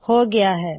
ਹੋ ਗਇਆ ਹੈ